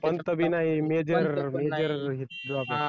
पंत भी नाही major major drawback